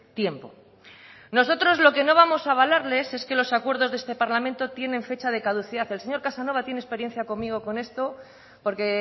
tiempo nosotros lo que no vamos a avalarles es que los acuerdos de este parlamento tienen fecha de caducidad el señor casanova tiene experiencia conmigo con esto porque